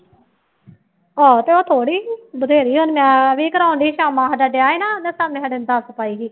ਆਹੋ ਤੇ ਉਹ ਥੋੜ੍ਹੀ ਸੀ ਬਥੇਰੀ ਹੁਣ ਮੈਂ ਵੀ ਕਰਵਾਉਂਦੀ ਕਾਮਾ ਸਾਡਾ ਕਾਮੇ ਸਾਾਡੇ ਨੇ ਦੱਸ ਪਾਈ ਸੀ